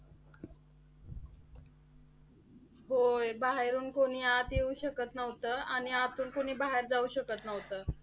होय. बाहेरून कोणी आत येऊ शकत नव्हतं. आणि आतून कोणी बाहेर जाऊ शकत नव्हतं.